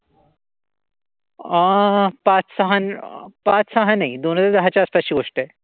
अं पाच सहा अं पाच सहा नाही. दोन हजार दहा च्या आसपासची गोष्ट आहे.